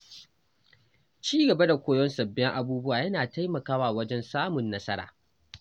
Ci gaba da koyon sabbin abubuwa yana taimakawa wajen samun nasara.